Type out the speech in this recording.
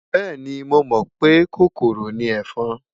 Bẹ́ẹ̀ni, mo mọ̀ pé kòkòrò ni ẹ̀fọn.